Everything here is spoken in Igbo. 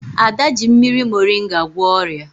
Ada ji mmiri morịnga gwọọ ọrịa